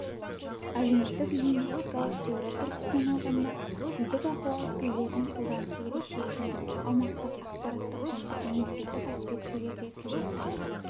әлеуметтік лингвистикалық теория тұрғысынан алғанда тілдік ахуал тілдердің қолданысы ерекшелігімен аумақтық ақпараттық және мемлекеттік аспектілерде тілдердің